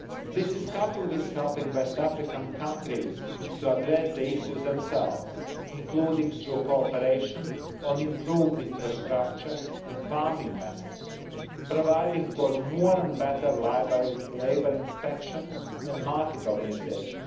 This is coupled with helping West African countries to address the issues themselves, including through cooperation on improved infrastructure and farming methods and providing for more and better labour inspection and market organisation.